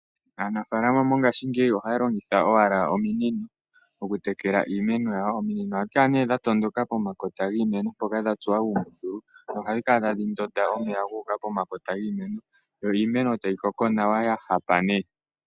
Aanafaalama ngaashingeyi ohaya longitha owala ominino oku tekela iimeno yawo, ominino ohashi kala nee dha tondoka pokati kiimeno dha tsuwa uumbuthulu nohadhi kala tadhi ndonda omeya guuka pomakota giimeno yo iimeno tayi koko nawa ya hapa nee.